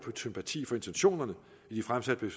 sympati for intentionerne i de fremsatte